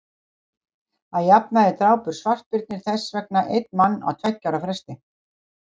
að jafnaði drápu svartbirnir þess vegna einn mann á tveggja ára fresti